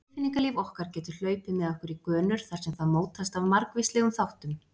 Tilfinningalíf okkar getur hlaupið með okkur í gönur þar sem það mótast af margvíslegum þáttum.